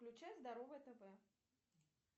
включай здоровое тв